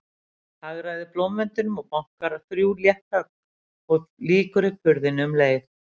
Hagræðir blómvendinum og bankar, þrjú létt högg, og lýkur upp hurðinni um leið.